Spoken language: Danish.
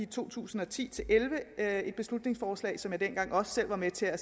to tusind og ti til elleve det er et beslutningsforslag som jeg dengang selv var med til at